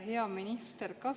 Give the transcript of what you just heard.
Hea minister!